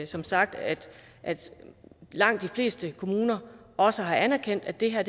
som sagt at langt de fleste kommuner også har erkendt at det her